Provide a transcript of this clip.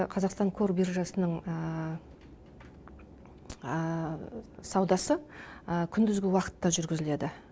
ал енді қазақстан қор биржасының саудасы күндізгі уақытта жүргізіледі